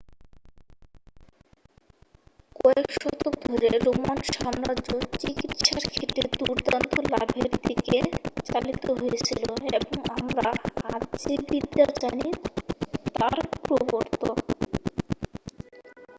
কয়েক শতক ধরে রোমান সাম্রাজ্য চিকিৎসার ক্ষেত্রে দুর্দান্ত লাভের দিকে চালিত হয়েছিল এবং আমরা আজ যে বিদ্যা জানি তার প্রবর্তক